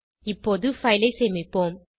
இப்போது பைல் ஐ சேமிப்போம்